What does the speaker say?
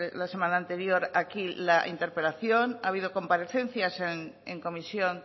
la semana anterior aquí la interpelación ha habido comparecencias en comisión